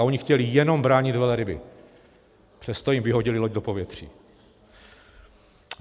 A oni chtěli jenom bránit velryby, přesto jim vyhodili loď do povětří.